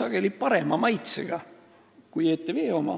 sageli parema maitsega valitud kui ETV-sse.